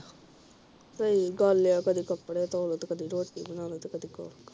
ਸਹੀ ਗਲ ਆ ਤੇ ਕਦੀ ਕੱਪੜੇ ਧੋ ਲਵੋ ਤੇ ਕਦੀ ਰੋਟੀ ਬਣਾ ਲਓ ਤੇ ਕਦੀ ਕੁਝ ਕਰ ਲਓ